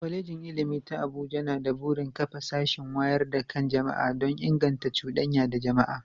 Kwalejin Ilimi ta Abuja na da burin kafa sashin wayar da kan jama'a don inganta cudanya da jama'a.